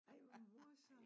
Ej hvor morsomt